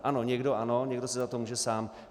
Ano, někdo ano, někdo si za to může sám.